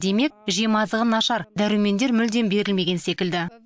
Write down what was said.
демек жемазығы нашар дәрумендер мүлдем берілмеген секілді